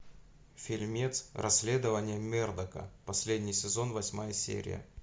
фильмец расследование мердока последний сезон восьмая серия